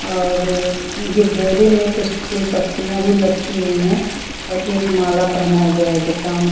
और ये बोरे में कुछ फूल पत्तियां भी लटकी हुई हैं और एक माला पहनाया गया है दुकान--